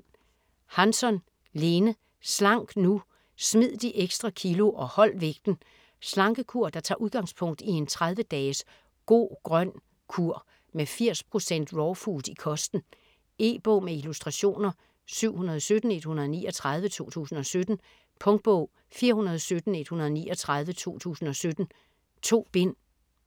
Hansson, Lene: Slank nu!: smid de ekstra kilo og hold vægten Slankekur der tager udgangspunkt i en 30 dages "Go-grøn kur" med 80% raw food i kosten. E-bog med illustrationer 717139 2017. Punktbog 417139 2017. 2 bind.